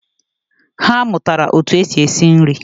Ha amuatara otu esi esi nri